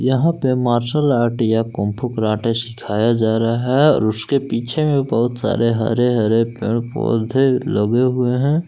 यहां पे martial art या कुंग फू कराटे सिखाया जा रहा है और उसके पीछे में भी बहुत सारे हरे हरे पेड़ पौधे लगे हुए हैं।